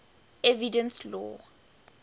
evidence law